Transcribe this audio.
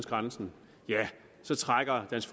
grænsen så trækker dansk